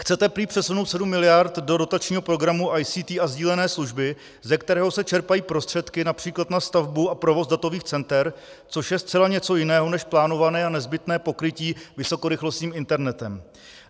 Chcete prý přesunout 7 miliard do dotačního programu ICT a sdílené služby, ze kterého se čerpají prostředky například na stavbu a provoz datových center, což je zcela něco jiného než plánované a nezbytné pokrytí vysokorychlostním internetem.